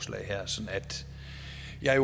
jeg